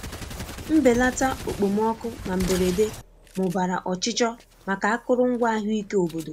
Mbelata okpomọkụ na mberede mụbara ọchịchọ maka akụrụngwa ahụike obodo.